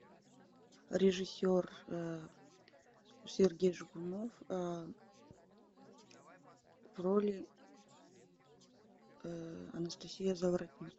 режиссер сергей жигунов в роли анастасия заворотнюк